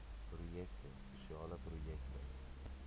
projekte spesiale projekte